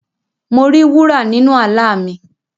Mo ri wúrà nínu àlá mi.